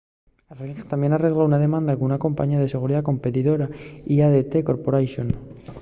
ring tamién arregló una demanda con una compañía de seguridá competidora l'adt corporation